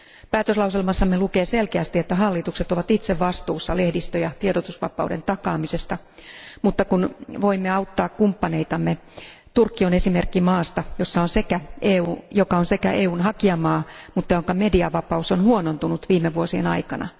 Päätöslauselmassamme lukee selkeästi, että hallitukset ovat itse vastuussa lehdistö ja tiedotusvapauden takaamisesta, mutta kun voimme auttaa kumppaneitamme, Turkki on esimerkki maasta, joka on EUn hakijamaa, mutta jonka mediavapaus on huonontunut viime vuosien aikana.